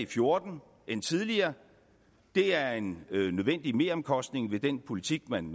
fjorten end tidligere er en nødvendig meromkostning ved den politik man